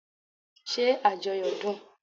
Ṣé ajoyo dun?